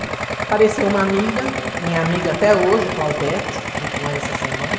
Apareceu uma amiga, minha amiga até hoje, a Claudete, estive com ela essa semana.